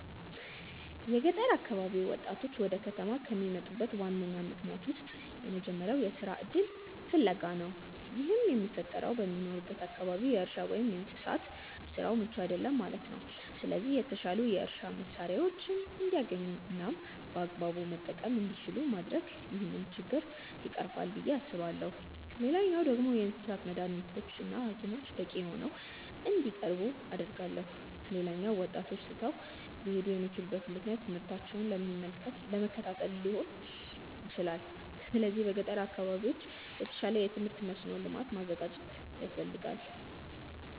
የገጠር አካባቢ ወጣቶች ወደ ከተማ ከሚመጡበት ዋነኛ ምክንያቶች ውስጥ የመጀመሪያው የስራ እድል ፍለጋ ነው። ይህም የሚፈጠረው በሚኖሩበት አካባቢ የእርሻ ወይም የእንስሳት ስራው ምቹ አይደለም ማለት ነው። ስለዚህ የተሻሉ የእርሻ መሳሪያዎችን እንዲያገኙ እናም በአግባቡ መጠቀም እንዲችሉ ማድረግ ይህንን ችግር ይቀርፋል ብዬ አስባለሁ። ሌላኛው ደግሞ የእንስሳት መዳኒቶች እና ሀኪሞች በቂ ሆነው እንዲቀርቡ አደርጋለሁ። ሌላኛው ወጣቶች ትተው ሊሄዱ የሚችሉበት ምክንያት ትምህርታቸውን ለመከታተል ሊሆን ይችላል። ስለዚህ በገጠር አካባቢዎች የተሻለ የትምህርት መስኖ ልማት ማዘጋጀት ያስፈልጋል።